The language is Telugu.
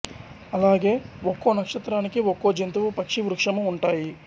అలాగే ఒక్కో నక్షత్రానికి ఒక్కో జంతువు పక్షి వృక్షము ఉంటాయి